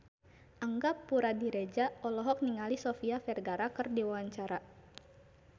Angga Puradiredja olohok ningali Sofia Vergara keur diwawancara